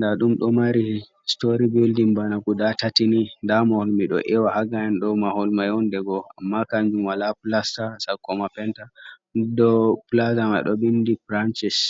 da dum do mari history bildin bana kuda tatini damahol mido ewa hagayan do mahol mayondego amma kanjumala plastar 1mpenta do plaza ma do bindi franchis.